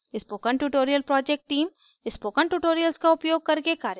spoken tutorial project team: spoken tutorials का उपयोग करके कार्यशालाएं चलाती है